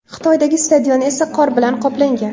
Xitoydagi stadion esa qor bilan qoplangan.